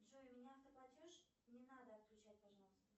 джой у меня автоплатеж не надо отключать пожалуйста